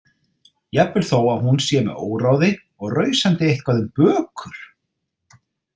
Jafnvel þó að hún sé með óráði og rausandi eitthvað um bökur.